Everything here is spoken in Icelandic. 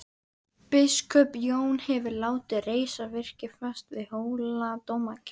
Biskup Jón hefur látið reisa virki fast við Hóladómkirkju.